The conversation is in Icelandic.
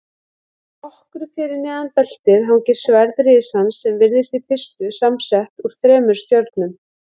Nokkru fyrir neðan beltið hangir sverð risans sem virðist í fyrstu samsett úr þremur stjörnum.